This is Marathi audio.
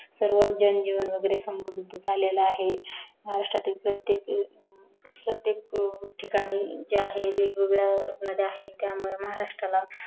सर्व जनजीवन वगेरे समृद्ध झालेला आहे महाराष्ट्रतिल प्रत्येक ठिकाणी जे आहे वेगवेगळ्या नद्या आहेत त्यामुळे महारास्ट्राला